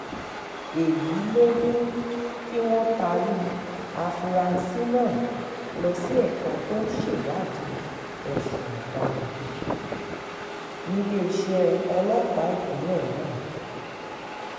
èyí ló mú kí wọ́n taari àfúrásì náà lọ sí ẹ̀ka tó ń ṣèwádìí ẹ̀sùn ọ̀daràn um níléeṣẹ́ ọlọ́pàá ìpínlẹ̀ náà um